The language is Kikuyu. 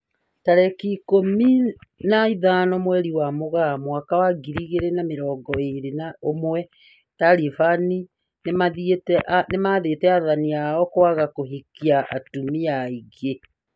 Tariki ikũmi na ithano mweri-inĩ wa Mũgaa mwaka wa ngiri igĩrĩ na mĩrongo ĩrĩ na ũmwe, Taliban nĩmathĩte athani ao kwaga kũhikia atumia aingĩ